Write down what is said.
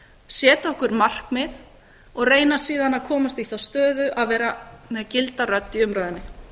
setja okkur markmið og reyna síðan að komast í þá stöðu að vera með gilda rödd í umræðunni